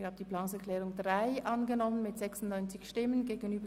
wer der Planungserklärung 3 den Vorzug gibt, stimmt Nein.